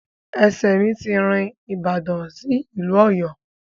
Ẹsẹ̀ mi ti rin ìbàdàn sí ìlú Ọ̀yọ́.